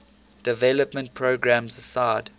development programs aside